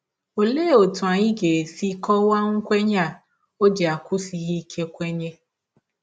Ọlee ọtụ anyị ga - esi kọwaa nkwenye a ọ ji akwụsighị ike kwenye?